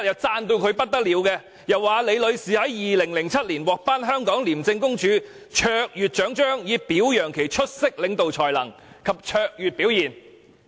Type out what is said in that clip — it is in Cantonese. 他當時高度讚揚李女士，表示她曾於2007年獲頒香港廉政公署卓越獎章，以表揚其出色領導才能及卓越表現。